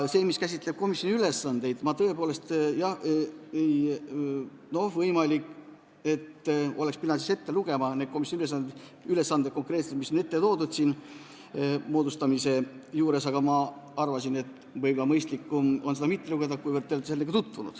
Mis puutub komisjoni ülesannetesse, siis jah, tõepoolest, võimalik, et oleks pidanud ette lugema need konkreetsed ülesanded, mis on ära toodud siin moodustamise otsuse juures, aga ma arvasin, et mõistlikum oleks neid mitte ette lugeda, kuivõrd te olete sellega tutvunud.